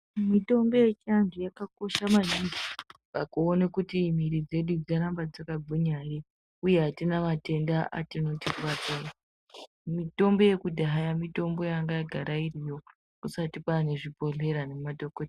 Mitombo yechiantu yakakosha maningi pakuone kuti mwiri dzedu dzaramba dzakagwinya ere uye atina matenda anotikuwadza ere. Mitombo yekudhaya mitombo yanga yagara iriyo kusati kwane zvibhehleya nemadhokodheya.